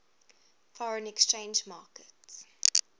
foreign exchange market